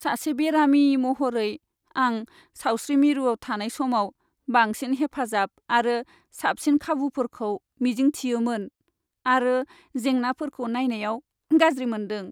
सासे बेरामि महरै, आं सावस्रि मिरुआव थानाय समाव बांसिन हेफाजाब आरो साबसिन खाबुफोरखौ मिजिंथियोमोन, आरो जेंनाफोरखौ नायनायाव गाज्रि मोनदों।